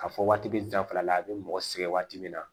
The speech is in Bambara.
Ka fɔ waati be danfara la a be mɔgɔ sɛgɛn waati min na